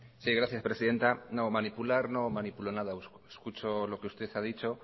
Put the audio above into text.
sí gracias presidenta no manipular no manipulo nada escucho lo que usted ha dicho